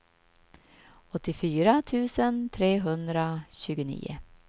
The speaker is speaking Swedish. åttiofyra tusen trehundratjugonio